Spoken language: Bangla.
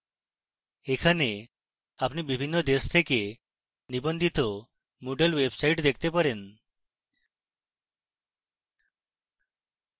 এখানে আপনি বিভিন্ন দেশ থেকে নিবন্ধিত moodle websites দেখতে পারেন